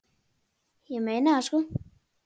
Ég meina það, sko.